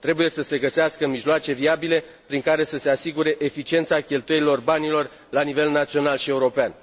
Trebuie să se găsească mijloace viabile prin care să se asigure eficiența cheltuirii banilor la nivel național și european.